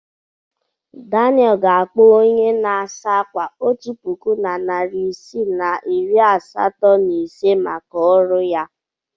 Daniel ga-akwụ onye na-asa ákwà otu puku naịra na narị isii na iri asatọ na ise maka ọrụ ya.